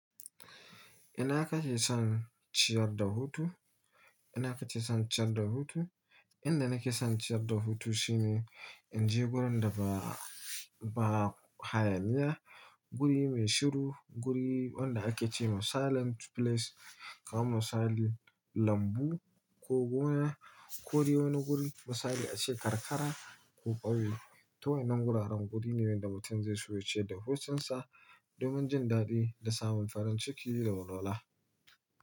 Ina ka ke son ciyar da hutu? Ina ka ke son ciyar da hutu? Inda nake son ciyar da hutu shine in je wurin da ba, ba hayaniya, guri mai shiru, guri wanda ake ce ma silent place, kamar misali lambu ko gona, ko dai wani guri misali ace karkara ko ƙauye. Ta wainnan guraren guri ne wanda mutum zai soyace da hucinsa domin jin daɗi da samun farin ciki da walwala.